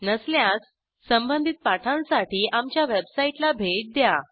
नसल्यास संबंधित पाठांसाठी आमच्या वेबसाईटला भेट द्या